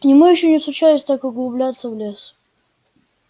ему ещё не случалось так углубляться в лес